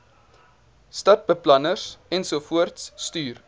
stadsbeplanners ensovoorts stuur